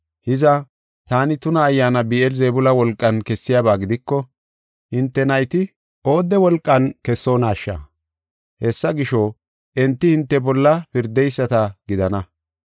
Hiza, taani tuna ayyaana Bi7eel-Zebuula wolqan kessiyaba gidiko hinte nayti oodde wolqan kessonaasha? Hessa gisho, enti hinte bolla pirdeyisata gidana.